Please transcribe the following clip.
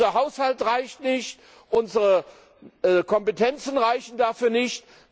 Unser Haushalt reicht nicht, unsere Kompetenzen reichen dafür nicht.